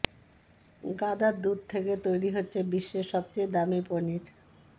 গাধার দুধ থেকে তৈরি হচ্ছে বিশ্বের সবচেয়ে দামি পনির